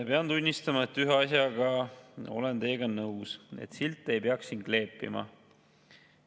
Pean tunnistama, et ühes asjas olen teiega nõus: silte ei peaks siin kleepima.